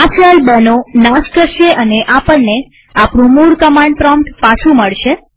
આ શેલ ૨નો નાશ કરશે અને આપણને આપણું મૂળ કમાંડ પ્રોમ્પ્ટ પાછું મળશે